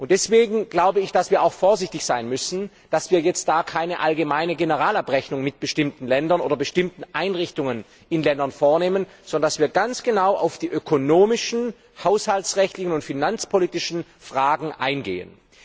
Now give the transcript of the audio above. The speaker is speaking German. Deswegen glaube ich, dass wir auch vorsichtig sein müssen, dass wir jetzt keine allgemeine Generalabrechnung mit bestimmten Ländern oder bestimmten Einrichtungen in Ländern vornehmen, sondern dass wir ganz genau auf die ökonomischen, haushaltsrechtlichen und finanzpolitischen Fragen eingehen.